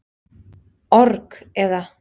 org, eða.